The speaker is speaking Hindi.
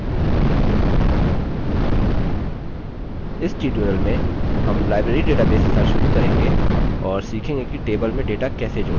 इस tutorial में हम library database के साथ शुरू करेंगे और सीखेंगे कि table में data कैसे जोड़ें